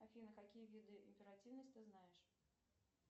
афина какие виды императивность ты знаешь